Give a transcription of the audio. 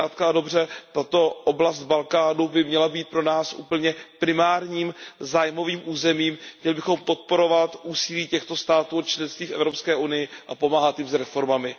Zkrátka a dobře, tato oblast Balkánu by měla být pro nás úplně primárním zájmovým územím, měli bychom podporovat úsilí těchto států o členství v Evropské unii a pomáhat jim s reformami.